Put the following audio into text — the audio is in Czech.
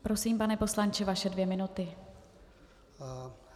Prosím, pane poslanče, vaše dvě minuty.